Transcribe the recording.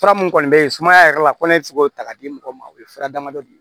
Fura mun kɔni bɛ yen sumaya yɛrɛ la ko ne bɛ se k'o ta k'a di mɔgɔw ma o ye fura damadɔ ye